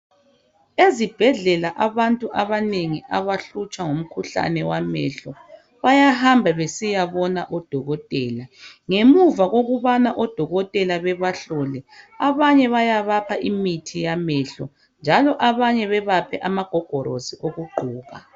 Ezibhedlela abantu abanengi abahlutshwa ngumkhuhlane wamehlo , bayahamba besiyabona odokotela. Ngemuva kokubana odokotela babahlole abanye bayabapha imithi yamehlo njalo abanye bebaphe amagogorosi okugqoka.